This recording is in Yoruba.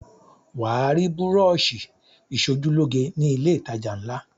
Wà á rí búrọ́ṣì ìṣojúlóge ni ilé-ìtajà ńlá.